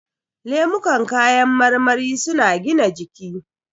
Lemukan kayan marmari su na gina jiki